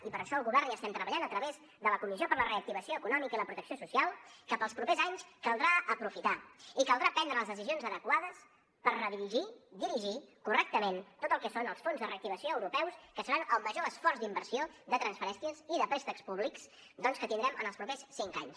i per això el govern hi estem treballant a través de la comissió per a la reactivació econòmica i la protecció social que per als propers anys caldrà aprofitar i caldrà prendre les decisions adequades per redirigir dirigir correctament tot el que són els fons de reactivació europeus que seran el major esforç d’inversió de transferències i de préstecs públics doncs que tindrem en els propers cinc anys